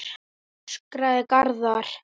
öskraði Garðar.